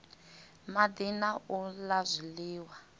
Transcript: madi na u la zwiliwa